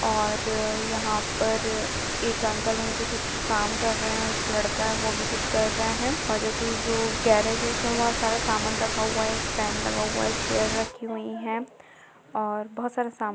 और यहां पर एक अंकल है जो कुछ काम कर रहे हैं और एक लड़का है वह भी कुछ कर रहा है और जोकि जो गेरेज है उसमें बोहोत सारा सामान रखा हुआ हैं। एक फैन लगा हुआ है। एक चेयर रखी हुई हैं और बोहोत सारा सामान ---